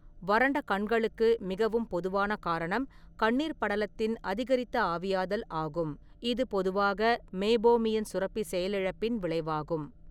வறண்ட கண்களுக்கு மிகவும் பொதுவான காரணம் கண்ணீர் படலத்தின் அதிகரித்த ஆவியாதல் ஆகும், இது பொதுவாக மெய்போமியன் சுரப்பி செயலிழப்பின் விளைவாகும்.